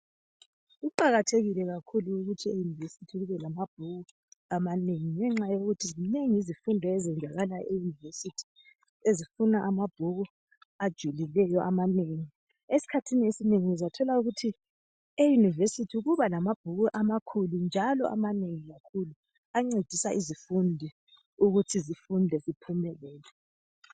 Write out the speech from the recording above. Kuqakathekile kakhulu e univesithi kube lamabhuku amanengi ngenxa yokuthi zinengi izifundo ezenzakala e Univesithi , ezifuna amabhuku ajulileyo amanengi. Esikhathini esinengi uzathola ukuthi e univesithi kuba lamabhuku amakhulu njalo amanengi kakhulu ancedisa izifundi ukuthi zifunde ziphumelele.